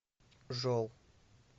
жол